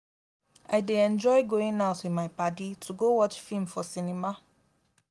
i dey enjoy going out with my padi to go watch film for cinema